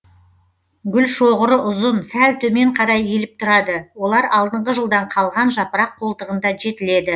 гүлшоғыры ұзын сәл төмен қарай иіліп тұрады олар алдыңғы жылдан қалған жапырақ қолтығында жетіледі